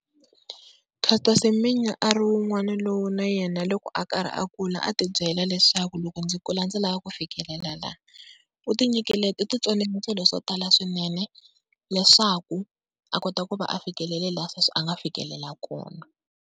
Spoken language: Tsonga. Caster Semenya a ri wun'wana lowu na yena loko a karhi a kula a ti byela leswaku loko ndzi kula ndzi lava ku fikelela la. U ti tsonile swilo swo tala swinene leswaku a kota ku va a fikelele laha sweswi a nga fikelela kona.